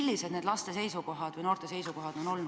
Kui seda tehti, siis millised on olnud laste või noorte seisukohad?